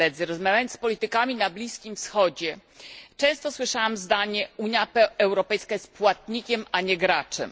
Rozmawiając z politykami na Bliskim Wschodzie, często słyszałam zdanie Unia Europejska jest płatnikiem, a nie graczem